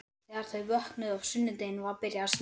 Þegar þau vöknuðu á sunnudeginum var byrjað að snjóa.